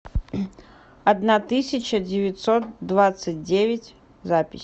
одна тысяча девятьсот двадцать девять запись